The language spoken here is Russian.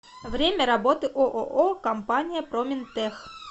время работы ооо компания проминтех